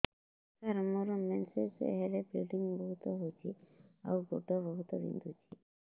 ସାର ମୋର ମେନ୍ସେସ ହେଲେ ବ୍ଲିଡ଼ିଙ୍ଗ ବହୁତ ହଉଚି ଆଉ ଗୋଡ ବହୁତ ବିନ୍ଧୁଚି